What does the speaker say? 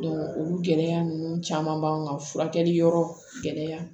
olu gɛlɛya ninnu caman b'an ka furakɛli yɔrɔ gɛlɛya